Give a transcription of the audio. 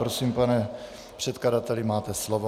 Prosím, pane předkladateli, máte slovo.